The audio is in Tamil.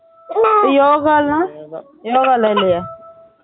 யோகாலாம் யோகா லாம் இல்லயா